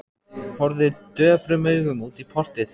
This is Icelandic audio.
Horfði döprum augum út í portið.